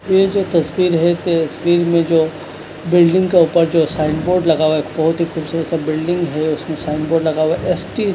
ये जो तस्वीर है तस्वीर मे जो बिल्डिंग का ऊपर जो साइन बोर्ड लगा हुआ है बहोत ही खूबसूरत सा बिल्डिंग है उसमें साइन बोर्ड लगा हुआ है एस टी --